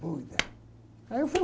Boa ideia. Aí eu fui